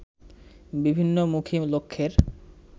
বিভিন্নমুখী লক্ষ্যের